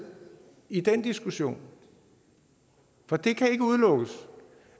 i den diskussion for det kan ikke udelukkes